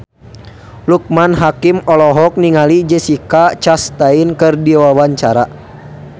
Loekman Hakim olohok ningali Jessica Chastain keur diwawancara